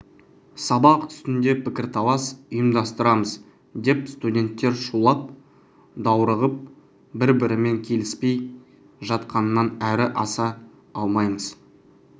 сабақ үстінде пікірталас ұйымдастырамыз деп студенттер шулап даурығып бір-бірімен келіспей жатқаннан әрі аса алмаймыз